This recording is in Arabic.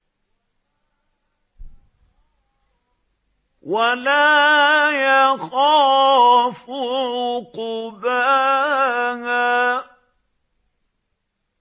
وَلَا يَخَافُ عُقْبَاهَا